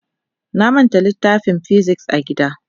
Na manta littafin "physics" a gida.